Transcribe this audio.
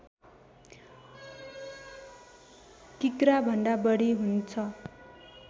किग्रा भन्दा बढी हुन्छ